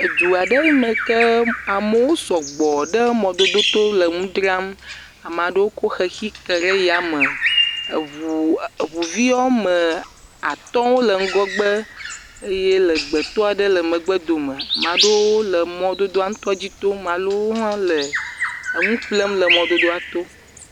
edu aɖe yi me ke amewo sugbɔ ɖe mɔdodo to le nu dzrm ame aɖewo kɔ xexi ke ɖe yame, eŋuvi woame atɔ̃ wole ŋgɔgbe, eye legbetɔ aɖe le megbe dome ame aɖewo le mɔdodoa dzi tom eye ame aɖewo le nuƒlem le mɔdodoa to.